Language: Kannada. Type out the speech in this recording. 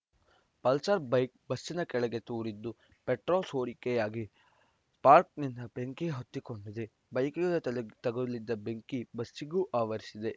ಪಲ್ಸರ್‌ ಬೈಕ್‌ ಬಸ್ಸಿನ ಕೆಳಗೆ ತೂರಿದ್ದು ಪೆಟ್ರೋಲ್‌ ಸೋರಿಕೆಯಾಗಿ ಸ್ಪಾರ್ಕ್ನಿಂದ ಬೆಂಕಿ ಹೊತ್ತಿಕೊಂಡಿದೆ ಬೈಕಿಗೆ ತಗುಲಿದ್ದ ಬೆಂಕಿ ಬಸ್ಸಿಗೂ ಆವರಿಸಿದೆ